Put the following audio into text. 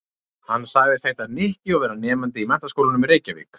Hann sagðist heita Nikki og vera nemandi í Menntaskólanum í Reykjavík.